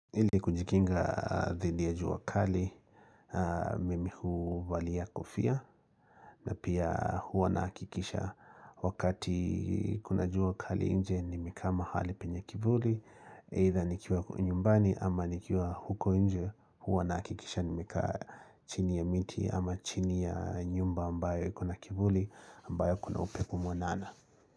Ili kujikinga dhidi ya jua kali, mimi huu valia kofia, na pia huwa na hakikisha wakati kuna jua kali inje nimekaa ma hali penye kivuli, eitha nikiwa nyumbani ama nikiwa huko inje huwa nahakikisha nimekaa chini ya miti ama chini ya nyumba ambayo ikona kivuli ambayo kuna upepo mwanana.